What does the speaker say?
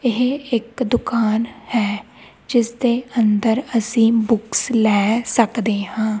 ਇਹ ਇੱਕ ਦੁਕਾਨ ਹੈ ਜਿਸ ਦੇ ਅੰਦਰ ਅਸੀਂ ਬੋਕਸ ਲੈ ਸਕਦੇ ਹਾਂ।